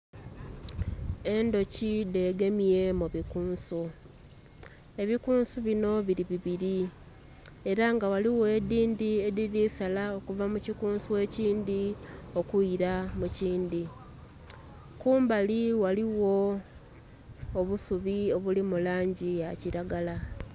Endhuki dhegemye mubikunso, ebikunsu bino biri bibiri era nga ghaligho edhindhi edhirisala okuva mukikunsu ekindhi okwira mukidhi kumbali ghaligho obusubi obuli mulangi ya kiragala.